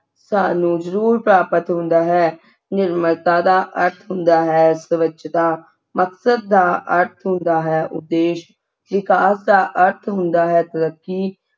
ਸਾਨੂੰ ਜਰੂਰ ਪ੍ਰਾਪਤ ਹੁੰਦਾ ਹੈ ਨਿਰਮਲਤਾ ਦਾ ਅਰਥ ਹੁੰਦਾ ਹੈ ਸਵੱਛਤਾ ਮਕਸਦ ਦਾ ਅਰਥ ਹੁੰਦਾ ਹੈ ਉੱਦੇਸ਼ ਵਿਕਾਸ ਦਾ ਅਰਥ ਹੁੰਦਾ ਹੈ ਤਰੱਕੀ